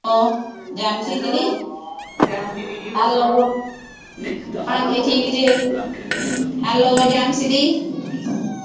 Hello ਜੈ ਦੀ hello ਹਾਂ ਜੀ ਠੀਕ ਜੇ, hello ਜੈ ਦੀ,